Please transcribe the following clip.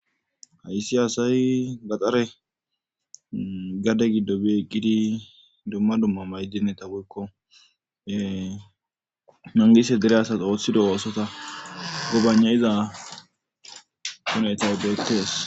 Hayssi hasay gaxare gade giddo bi eqqidi dumma dumma maydineta boykko nangise dere asas ooththido oosota gobanayiza honethay beettees.